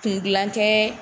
Kun dilan tɛ